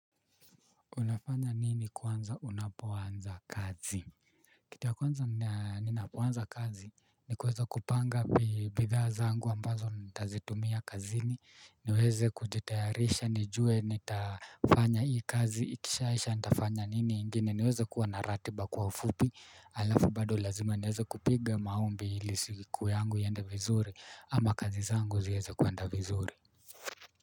Unafanya nini kwanza unapo anza kazi? Kitu ya kwanza ninapoanza kazi ni kuweza kupanga bidha zangu ambazo nitazitumia kazini niweze kujitayarisha nijue nitafanya hii kazi ikishaisha nitafanya nini ingine niweze kuwa na ratiba kwa ufupi alafu bado lazima niweze kupiga maombi ili siku yangu iende vizuri ama kazi zangu ziweze kuenda vizuri.